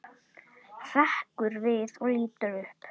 Hrekkur við og lítur upp.